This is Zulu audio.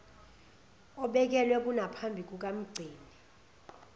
obekelwe konaphambi kukamgcini